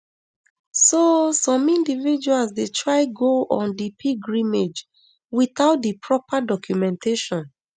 so some individuals dey try go on di pilgrimage without di proper documentation